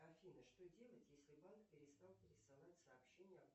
афина что делать если банк перестал присылать сообщения